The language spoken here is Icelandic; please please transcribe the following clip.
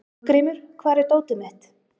Hafgrímur, hvar er dótið mitt?